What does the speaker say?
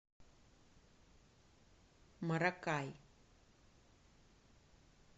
маракай